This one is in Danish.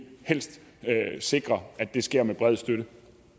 helst sikre at det sker med bred støtte